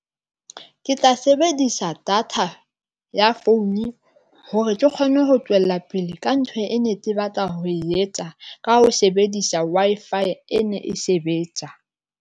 Ke tla sebedisa data ya founu hore ke kgone ho tswella pele ka ntho e ne ke batla ho e etsa ka ho sebedisa Wi-Fi e ne e sebetsa.